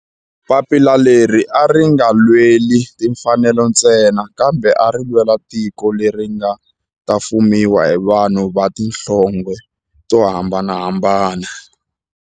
Papila leri a ri nga lweli timfanelo ntsena kambe ari lwela tiko leri nga ta fumiwa hi vanhu va tihlonge to hambanahambana.